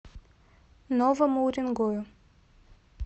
новому уренгою